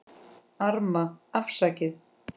Arma: Afsakið